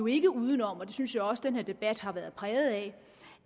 ikke uden om og det synes jeg også at den her debat har været præget af